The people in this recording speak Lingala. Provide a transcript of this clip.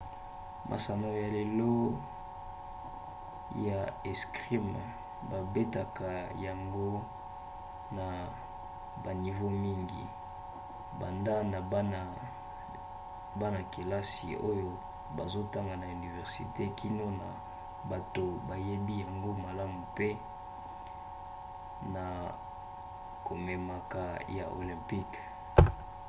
masano ya lelo ya 'escrime babetaka yango na banivo mingi banda na bana-kelasi oyo bazotanga na universite kino na bato bayebi yango malamu pe na komemaka ya olympique